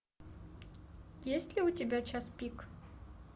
есть ли у тебя час пик